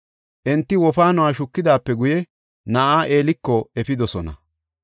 Enti wofaanuwa shukidaape guye na7aa Eeliko efidosona.